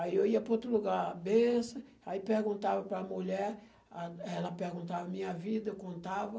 Aí eu ia para outro lugar, bençã, aí perguntava para a mulher, ah, ela perguntava a minha vida, eu contava.